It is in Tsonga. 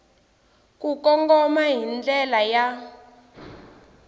ku kongoma hi ndlela ya